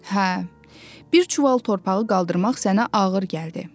Hə, bir çuval torpağı qaldırmaq sənə ağır gəldi.